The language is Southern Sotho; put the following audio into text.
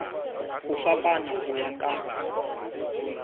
ho fapana ho ya ka